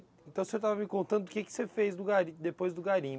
Então, o senhor estava me contando o que que você fez do garim, depois do garimpo.